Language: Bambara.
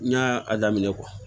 N y'a daminɛ